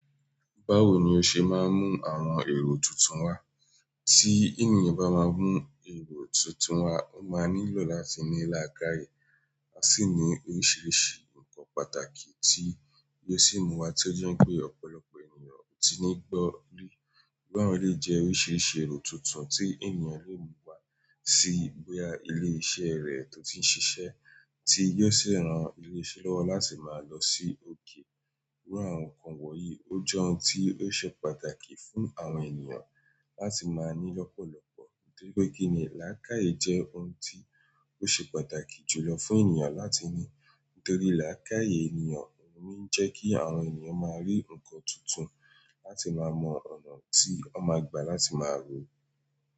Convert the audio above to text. Báwo ni o ṣe máa ń mú àwọn èrò tuntun wá tí ènìyàn bá máa mú èrò tuntun wá, ó máa nílò láti ní làkàye, a sì ní oríṣiríṣi nǹkan pàtàkì tí yóò sì mú wa tí ó jẹ́ n pé ọ̀pọ̀lọpọ̀ ènìyàn ò tí ní gbọ́ rí. Gbọ́ran lé jẹ́ oríṣiríṣi èrò tuntun tí ènìyàn lè mú wá sí bóyá ilé iṣẹ́ rẹ̀ tó ti ń ṣiṣẹ́ tí yóò sì ran ilé iṣẹ́ lọ́wọ́ láti máa lọ sí òkè. Iru àwọn nǹkan wọ̀nyí ó jẹ́ ohun tí ó ṣe pàtàkì fún àwọn ènìyàn láti máa ní lọ́pọ̀lọpọ̀ nítorí pé kíni làkàye jẹ́ ohun tí ó ṣe pàtàkì jùlọ fún ènìyàn láti ní nítorí làkàye ènìyàn ohun lo ń jẹ́ kí àwọn ènìyàn máa rí nǹkan tuntun láti máa mọ ọ̀nà tí wọ́n máa gbà láti máa rú.